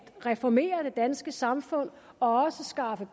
reformere det danske samfund og skaffe